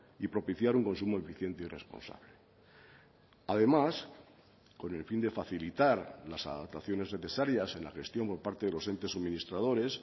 y propiciar un consumo eficiente y responsable además con el fin de facilitar las adaptaciones necesarias en la gestión por parte de los entes suministradores